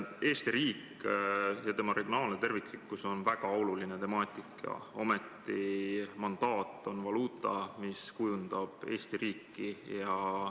Eesti riik ja tema regionaalne terviklikkus on väga oluline temaatika, ometi on mandaat valuuta, mis kujundab Eesti riiki.